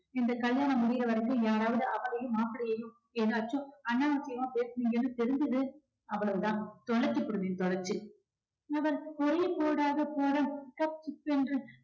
இந்த கல்யாணம் முடியற வரைக்கும் யாராவது அவளையும் மாப்பிள்ளையையும் ஏதாச்சும் அனாவசியமா பேசினீங்கன்னு தெரிஞ்சது அவ்வளவுதான் தொலைச்சுப்புடுவேன் தொலைச்சு அவன் ஒரே போடாக போட கப்சிப் என்று